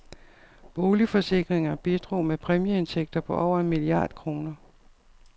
Bilforsikringer bidrog med præmieindtægter på over en milliard kroner.